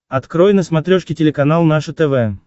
открой на смотрешке телеканал наше тв